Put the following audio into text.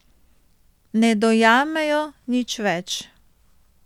Ne dojamejo nič več.